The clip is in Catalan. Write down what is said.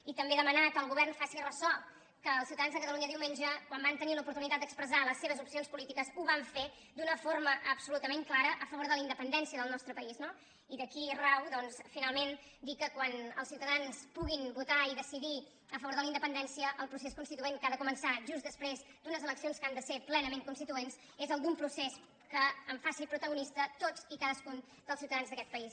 i també demanar que el govern es faci res·sò que els ciutadans de catalunya diumenge quan van tenir l’oportunitat d’expressar les seves opcions políti·ques ho van fer d’una forma absolutament clara a fa·vor de la independència del nostre país no i d’aquí rau doncs finalment dir que quan els ciu·tadans puguin votar i decidir a favor de la indepen·dència el procés constituent que ha de començar just després d’unes eleccions que han de ser plenament constituents és el d’un procés que en faci protagonista a tots i a cadascun dels ciutadans d’aquest país